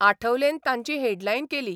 आठवलेन तांची हेडलायन केली.